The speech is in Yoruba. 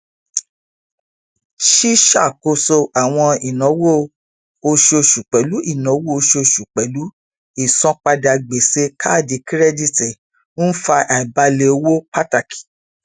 ṣíṣàkóso àwọn ináwó oṣooṣu pẹlú ináwó oṣooṣu pẹlú ìsanpadà gbèsè káàdì kírẹdítì ń fa àìbálẹ owó pàtàkì